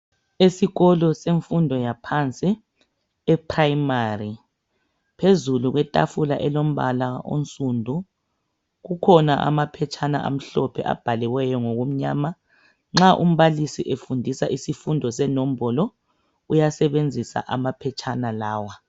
Esikolo semfundo yaphansi eprimary phezulu kwetafula elombala onsundu kukhona amaphetshana amhlophe abhaliweyo ngokumnyama nxa umbalisi efundisa isifundo senombolo uyasebenzisa amaphetshana lawa.